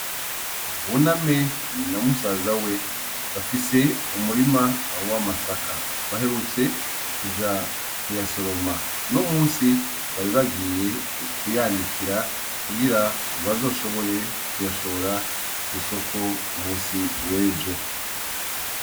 Buname na musazawe bafise umurima w'amasaka, baherutse kuja kuyasoroma, uno musi bari bagiye kuyanikira kugira bazoshobore kuyashora kw'isoko ku musi w'ejo.